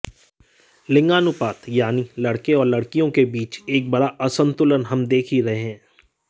लिंगानुपात यानि लड्के और लडकियों के बीच एक बडा असंतुलन हम देख ही रहे हैं